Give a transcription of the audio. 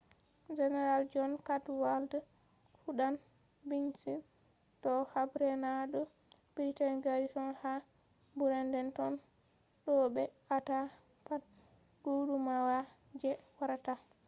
general john cadwalder fuɗɗan bincike do habre na do britain garrison ha boredentown do ɓe aata pat gudumawa je warata